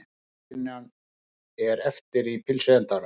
Rúsínan er eftir í pylsuendanum.